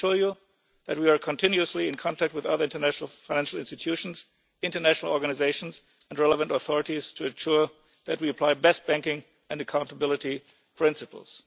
I can assure you that we are continually in contact with other international financial institutions, international organisations and relevant authorities to ensure that we apply best banking and accountability principles.